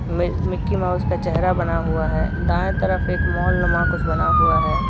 मि Mickey Mouse का चेहरा बना हुआ है दाएं तरफ एक मॉल नुमा कुछ बना हुआ है।